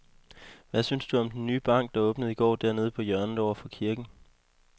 Hvad synes du om den nye bank, der åbnede i går dernede på hjørnet over for kirken?